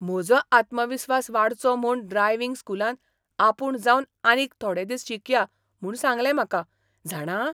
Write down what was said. म्हजो आत्मविस्वास वाडचो म्हूण ड्रायव्हिंग स्कुलान आपूण जावन आनीक थोडे दीस शिकया म्हूण सांगलें म्हाका, जाणा?